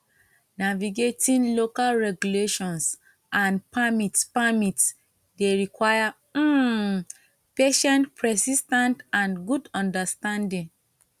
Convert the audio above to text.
navigating local regulations and permits permits dey require um patience persis ten ce and good understanding